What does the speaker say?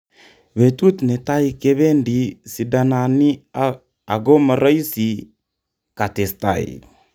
"Betut netai kebedi sidanani ako moroisi"katestai.